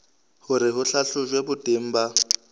hore ho hlahlojwe boteng ba